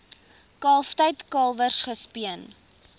kalftyd kalwers gespeen